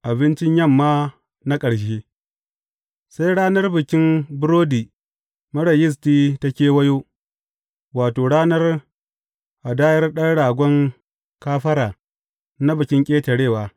Abincin yamma na ƙarshe Sai ranar Bikin Burodi Marar Yisti ta kewayo, wato, ranar hadayar ɗan ragon kafara na Bikin Ƙetarewa.